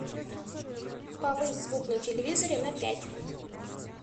повысь звук на телевизоре на пять